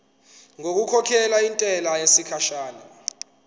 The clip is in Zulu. ngokukhokhela intela yesikhashana